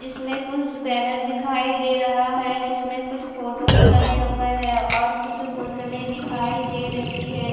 इसमें कुछ बेनर दिखाई दे रहा है जिसमे कुछ फोटोज बने हुए है और कुछ बोतले दिखाई दे रही है।